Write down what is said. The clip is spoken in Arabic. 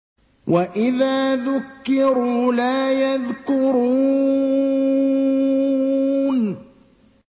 وَإِذَا ذُكِّرُوا لَا يَذْكُرُونَ